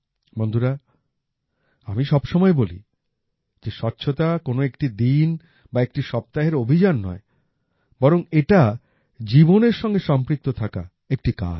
বন্ধুরা আমি সব সময় বলি যে স্বচ্ছতা কোন একটি দিন বা একটি সপ্তাহের অভিযান নয় বরং এটা জীবনের সঙ্গে সম্পৃক্ত থাকা একটি কাজ